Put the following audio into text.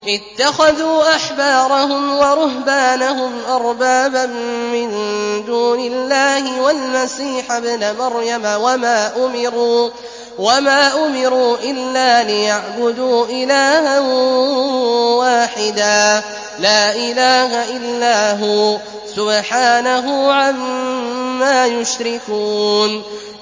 اتَّخَذُوا أَحْبَارَهُمْ وَرُهْبَانَهُمْ أَرْبَابًا مِّن دُونِ اللَّهِ وَالْمَسِيحَ ابْنَ مَرْيَمَ وَمَا أُمِرُوا إِلَّا لِيَعْبُدُوا إِلَٰهًا وَاحِدًا ۖ لَّا إِلَٰهَ إِلَّا هُوَ ۚ سُبْحَانَهُ عَمَّا يُشْرِكُونَ